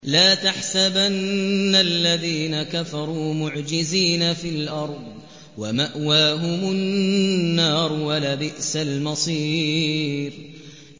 لَا تَحْسَبَنَّ الَّذِينَ كَفَرُوا مُعْجِزِينَ فِي الْأَرْضِ ۚ وَمَأْوَاهُمُ النَّارُ ۖ وَلَبِئْسَ الْمَصِيرُ